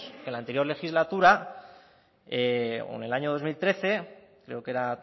que en la anterior legislatura o en el año dos mil trece creo que era